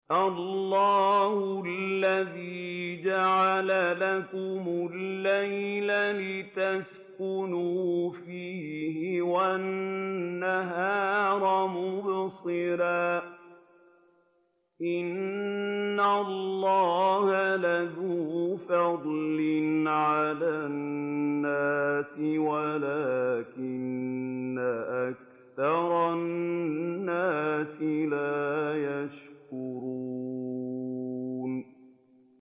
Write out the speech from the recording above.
اللَّهُ الَّذِي جَعَلَ لَكُمُ اللَّيْلَ لِتَسْكُنُوا فِيهِ وَالنَّهَارَ مُبْصِرًا ۚ إِنَّ اللَّهَ لَذُو فَضْلٍ عَلَى النَّاسِ وَلَٰكِنَّ أَكْثَرَ النَّاسِ لَا يَشْكُرُونَ